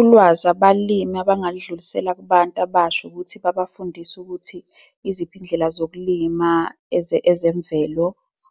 Ulwazi abalimi abangaludlulisela kubantu abasha ukuthi babafundise ukuthi iziphi izindlela zokulima ezemvelo.